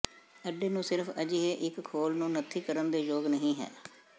ਅੰਡੇ ਨੂੰ ਸਿਰਫ਼ ਅਜਿਹੇ ਇੱਕ ਖੋਲ ਨੂੰ ਨੱਥੀ ਕਰਨ ਦੇ ਯੋਗ ਨਹੀ ਹੈ